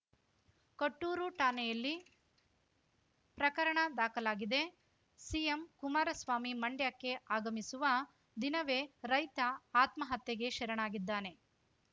ಕೊಟ್ಟೂರು ಠಾಣೆಯಲ್ಲಿ ಪ್ರಕರಣ ದಾಖಲಾಗಿದೆ ಸಿಎಂ ಕುಮಾರಸ್ವಾಮಿ ಮಂಡ್ಯಕ್ಕೆ ಆಗಮಿಸುವ ದಿನವೇ ರೈತ ಆತ್ಮಹತ್ಯೆಗೆ ಶರಣಾಗಿದ್ದಾನೆ